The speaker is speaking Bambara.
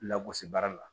Lagosi baara la